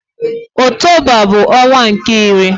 Okụtoba bụ ọnwa nke iri.